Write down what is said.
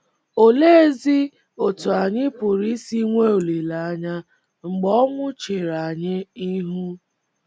Oleezi otú anyị pụrụ isi nwee olileanya mgbe ọnwụ chere anyị ihu?